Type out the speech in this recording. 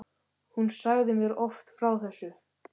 Hún sagði mér oft frá þessu.